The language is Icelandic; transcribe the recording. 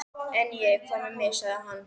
En ég. hvað með mig? sagði hann.